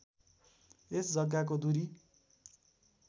यस जग्गाको दूरी